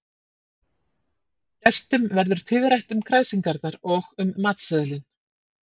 Gestum verður tíðrætt um kræsingarnar og um matseðilinn.